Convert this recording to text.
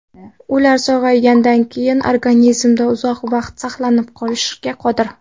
Ular sog‘aygandan keyin organizmda uzoq vaqt saqlanib qolishga qodir.